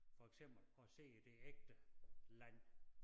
For eksempel og ser det ægte land